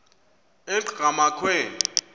enqgamakhwe